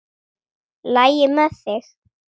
LAGI MEÐ ÞIG?